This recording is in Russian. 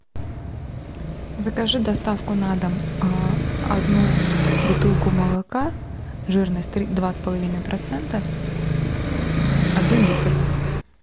закажи доставку на дом одну бутылку молока жирность два с половиной процента один литр